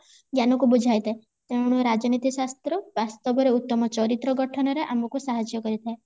ଜ୍ଞାନ କୁ ବୁଝାଇଥାଏ ତେଣୁ ରାଜନୀତି ଶାସ୍ତ୍ର ବାସ୍ତବରେ ଉତ୍ତମ ଚରିତ୍ର ଗଠନ ରେ ଆମକୁ ସାହାଯ୍ୟ କରିଥାଏ